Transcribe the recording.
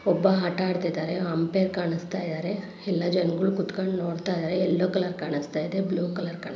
ಒಬ್ಬ ಆಟ ಆಡ್ತಾ ಇದ್ದಾರೆ ಅಂಪೇರ್ ಕಾಣಿಸ್ತಾಇದ್ದಾರೆ ಎಲ್ಲ ಜನಗಳು ಕೂತ್ಕೊಂಡು ನೋಡ್ತಾ ಇದ್ದಾರೆ ಎಲ್ಲೋ ಕಲರ್ ಕಾಣಿಸ್ತಾ ಇದೆ ಬ್ಲೂ ಕಲರ್ ಕಾಣ್.